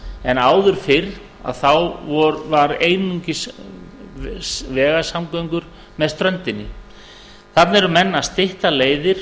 en áður fyrr voru einungis vegasamgöngur með ströndinni þarna eru menn að stytta leiðir